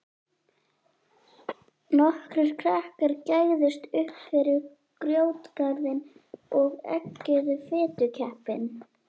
Nokkrir krakkar gægðust uppfyrir grjótgarðinn og eggjuðu fitukeppinn.